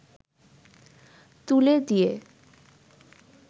তুলে দিয়ে